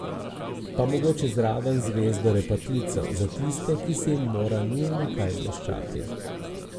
Pa mogoče zraven zvezdo repatico, za tiste, ki se jim mora nujno kaj bleščati.